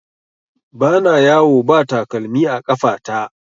Ba na yawo ba takalmi a ƙafa ta